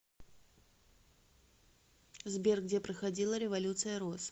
сбер где проходила революция роз